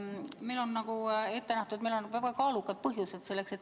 Meil on ette nähtud, et selleks peavad olema väga kaalukad põhjused.